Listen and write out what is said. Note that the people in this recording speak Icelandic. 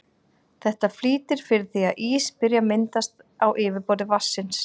Þetta flýtir fyrir því að ís byrji að myndast á yfirborði vatnsins.